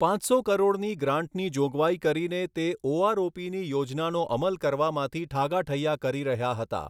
પાંચસો કરોડની ગ્રાન્ટની જોગવાઈ કરીને તે ઓઆરઓપીની યોજનાનો અમલ કરવામાંથી ઠાગાઠૈયા કરી રહ્યા હતા